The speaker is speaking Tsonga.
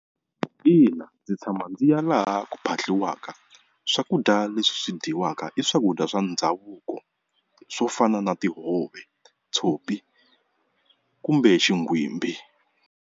Ina ndzi tshama ndzi ya laha ku phahliwaka swakudya leswi dyiwaka i swakudya swa ndhavuko swo fana na tihove, tshopi kumbe xigwimbi.